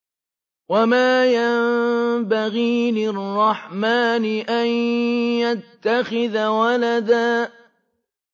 وَمَا يَنبَغِي لِلرَّحْمَٰنِ أَن يَتَّخِذَ وَلَدًا